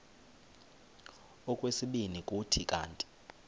okwesibini kuthi kanti